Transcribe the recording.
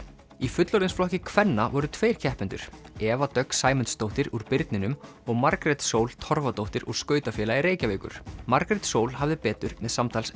í fullorðinsflokki kvenna voru tveir keppendur Eva Dögg Sæmundsdóttir úr birninum og Margrét Sól Torfadóttir úr skautafélagi Reykjavíkur Margrét Sól hafði betur með samtals